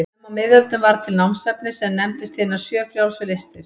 Snemma á miðöldum varð til námsefni sem nefndist hinar sjö frjálsu listir.